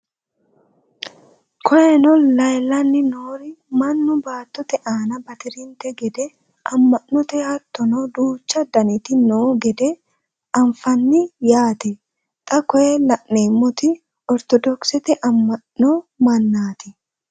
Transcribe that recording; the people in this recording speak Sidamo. Koyenno leelanni noori mannu battotte aanna batirinte gede ama'nonno hattonni duuchu danitti noo gede anfanni yaatte. Xa koye la'nemotti orttodokisette ama'no mannaatti